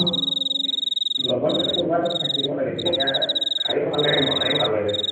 লগত মানে কোনোবা এটা থাকিব লাগে তেতিয়াহে, খাইও ভাল লাগে বনাইও ভাল লাগে